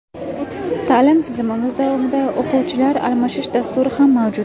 Ta’lim tizimimiz davomida o‘quvchilar almashish dasturi ham mavjud.